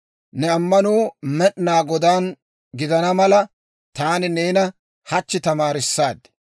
Ne ammanuu Med'inaa Godaan gidana mala, taani neena hachchi tamaarissaad.